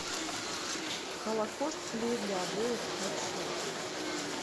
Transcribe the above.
холокост клей для обоев включи